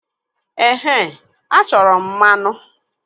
Ehe, achọrọ m mmanụ.